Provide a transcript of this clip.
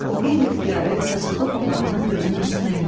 O qeyri-ixtiyari saçaqlı papağını gözünün üstünə endirdi.